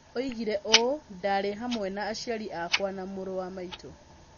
Oigire ũũ: "Ndaarĩ vamwe na aciari akwa na mũrũ wa maitũ".